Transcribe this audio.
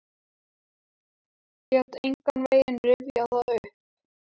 Get engan veginn rifjað það upp.